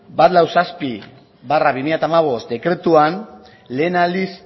berrogeita zazpi barra bi mila hamabost dekretuan lehen aldiz